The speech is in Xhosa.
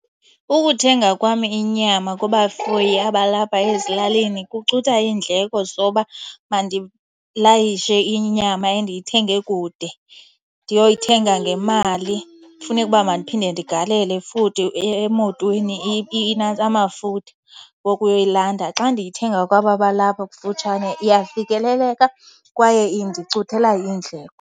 Ukuthenga kwam inyama kubafuyi abalapha ezilalini kucutha iindleko zoba mandilayishe inyama endiyithenge kude. Ndiyoyithenga ngemali, funeke uba madiphinde ndigalele futhi emotweni amafutha wokuyoyilanda. Xa ndiyithenga kwaba balapha kufutshane iyafikeleleka kwaye indicuthela iindleko.